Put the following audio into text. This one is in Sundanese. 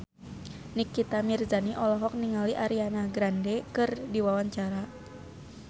Nikita Mirzani olohok ningali Ariana Grande keur diwawancara